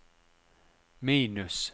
minus